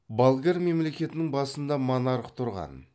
болгар мемлекетінің басында монарх тұрған